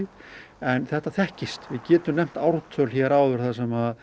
en þetta þekkist við getum nefnt ártöl hér áður þar sem